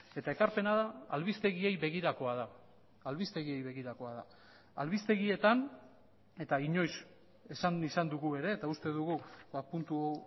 eta ekarpena da albistegiei begirakoa da albistegiei begirakoa da albistegietan eta inoiz esan izan dugu ere eta uste dugu puntu